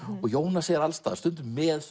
og Jónas er alls staðar stundum með